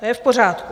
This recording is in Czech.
To je v pořádku.